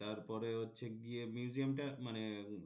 তারপরে হচ্ছে গিয়ে museum টা মানে